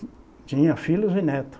Tinha filhos e netos.